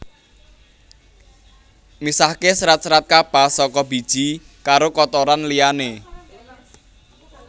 Misahke serat serat kapas saka biji karo kotoran liyane